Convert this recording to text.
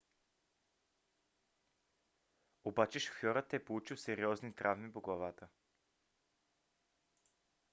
обаче шофьорът е получил сериозни травми по главата